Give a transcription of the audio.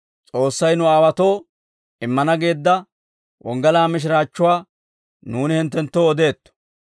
«S'oossay nu aawaatoo immana geedda wonggalaa mishiraachchuwaa nuuni hinttenttoo odeetto.